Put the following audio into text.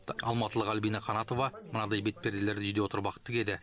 алматылық альбина қанатова мынадай бет перделерді үйде отырып ақ тігеді